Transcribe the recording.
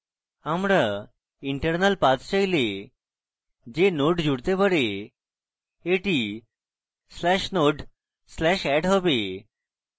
আমরা internal path চাইলে যে node জুড়তে পারে এটি/node/add হবে